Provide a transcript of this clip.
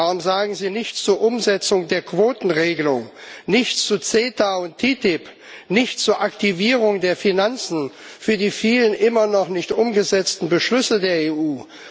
Warum sagen Sie nichts zur Umsetzung der Quotenregelung, nichts zu CETA und TTIP, nichts zur Aktivierung der Finanzen für die vielen immer noch nicht umgesetzten Beschlüsse der EU?